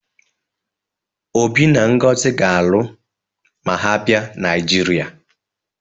Obi na Ngozi ga-alụ ma ha bịa Naịjirịa